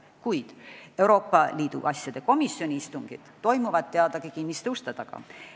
Kuid Euroopa Liidu asjade komisjoni istungid toimuvad teadagi kinniste uste taga.